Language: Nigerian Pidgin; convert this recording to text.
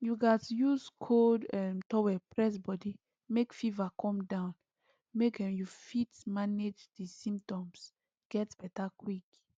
you gatz use cold um towel press body make fever come down make um you fit manage di symptoms get beta quick